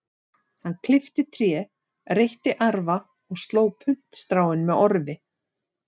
Hann klippti tré, reytti arfa og sló puntstráin með orfi.